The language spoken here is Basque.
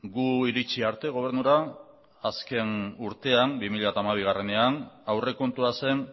gu iritsi arte gobernura azken urtean bi mila hamabiean aurrekontua zen